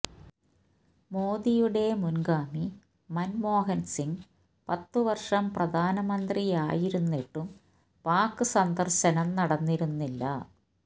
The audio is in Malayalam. മോദിയുടെ മുന്ഗാമി മന്മോഹന് സിംഗ് പത്തുവര്ഷം പ്രധാനമന്ത്രിയായിരുന്നിട്ടും പാക് സന്ദര്ശനം നടന്നിരുന്നില്ല